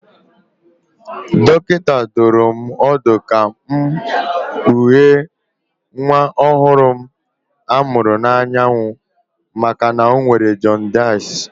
Dọkịta dụrụ m ọdụ ka m kpughee nwa ọhụrụ m a mụrụ n'anyanwụ maka na ọ nwere jọndisị